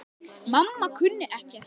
Mamma kunni ekkert.